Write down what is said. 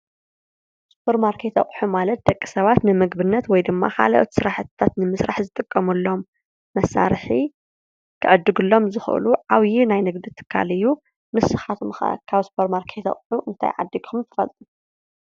ሱፐር ማርኬት ኣቁሑ ማለት ደቂ ሰባት ንምግብነት ወይ ድማ ካልኦት ስራሕታት ንምስራሕ ዝጥቀምሎም መሳርሒ ክዕድግሎም ዝክእሉ ዓብዪ ናይ ንግዲ ትካል እዩ። ንስካትኩም ከ ካብ ሱፐር ማርኬት ኣቁሑ እንታይ ዓዲግኩም ትፈልጡ?